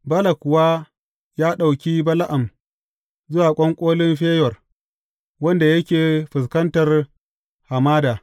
Balak kuwa ya ɗauki Bala’am zuwa ƙwanƙolin Feyor, wanda yake fuskantar hamada.